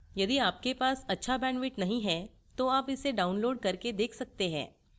यदि आपके पास अच्छा bandwidth नहीं है तो आप इसे download करके देख सकते हैं